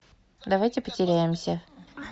давайте потеряемся